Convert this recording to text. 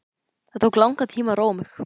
Það tók langan tíma að róa mig.